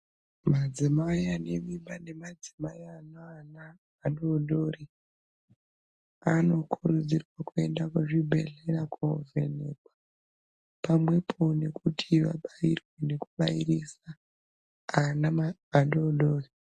Madzimai anemimbanemadzimai aneana adodori anokurudzirwa kuenda kuzvibhedhlera kovhenekwa pamwepo nekuti vabairwe nekubairisa ana adodori.